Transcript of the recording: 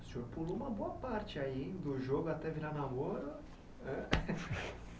O senhor pulou uma boa parte aí do jogo até virar namoro né.